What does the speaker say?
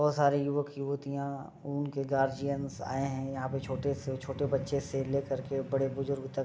और सारी युवक युवतियां उनके गार्डीअन आए हैं। यहाँ पे छोटे से छोटे से बच्चे से लेकर के बड़े बुजुर्ग तक --